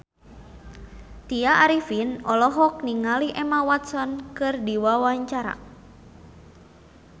Tya Arifin olohok ningali Emma Watson keur diwawancara